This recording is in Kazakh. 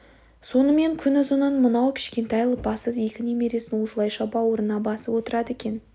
сонымен күнұзынын мынау кішкентай лыпасыз екі немересін осылайша бауырына басып отырады екен